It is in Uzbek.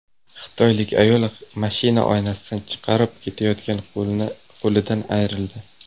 Xitoylik ayol mashina oynasidan chiqarib ketayotgan qo‘lidan ayrildi.